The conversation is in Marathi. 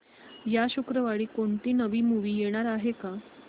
या शुक्रवारी कोणती नवी मूवी येणार आहे का